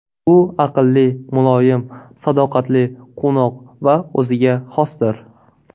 U aqlli, muloyim, sadoqatli, quvnoq va o‘ziga xosdir.